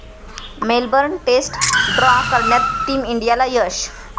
Melbourne test draw करण्यात team इंडियाला यश